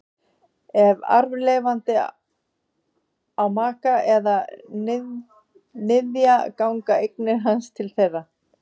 Ef arfleifandi á maka eða niðja ganga eignir hans til þeirra.